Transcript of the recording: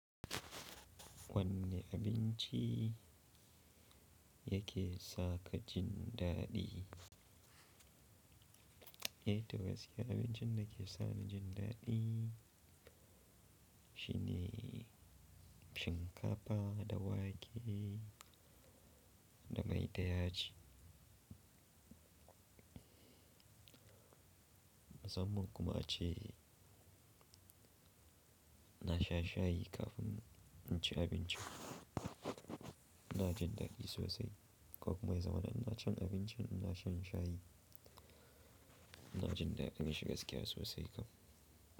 Wanne abinci yake saka jin daɗi? Eh, togasiya abincin da ke sanya jin daɗi shine shinkafa da wake da mai da yaji. Musamman kuma ace na sha shayi kafin in ci abinci, ina jin daɗi sosai ko kuma ya zama na ci abincin ina shan shayi ina jin daɗin shi gaskiya sosai kam.